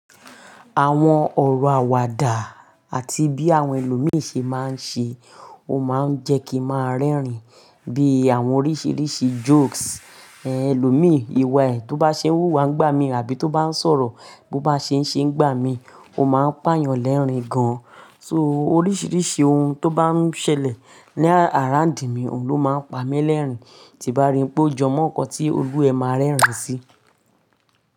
Àwọn ọ̀rọ̀ àwàdà àti bí àwọn ẹlòmíì ṣe máa ń ṣe, ó máa ń jẹ́ kí n máa rẹ́rìn-ín. Bíi àwọn oríṣiríṣi jokes, ẹlòmíì, ìwà ẹ tó bá ṣe n wúwa ń gbà mí àbí tó bá ń sọ̀rọ̀ bó bá ṣe ń ṣe ń gbà mí, ó máa ń pà yàn lẹ́rìn-ín gan. So oríṣiríṣi ohun tó bá ń ṣẹlẹ̀ ní àráǹdì mi, òun ló máa ń pa mí lẹ́rìn-ín. Ti bá rí pé ó jọ mọ́ nǹkan tí ojú ẹ máa rẹ́rìn-ín sí.